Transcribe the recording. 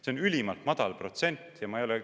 See on ülimalt madal protsent.